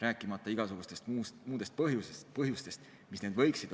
Ja on ka igasuguseid muid põhjusi, mis võivad tingida asendamise vajaduse.